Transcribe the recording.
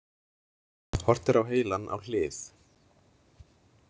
Horft er á heilann á hlið.